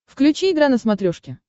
включи игра на смотрешке